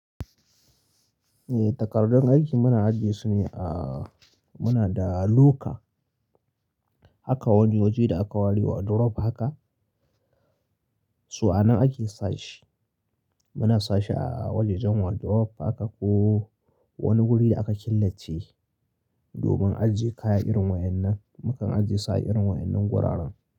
Eh, takardun aiki muna ajiye su ne a muna da loka haka wani waje da aka ware wardrobe haka, so anan ake sa shi. Muna sa shi a wajajen wardrobe haka ko wani wuri da aka killace domin ajiye kaya irin waɗannan, mukan ajiye su a irin waɗannan wuraren.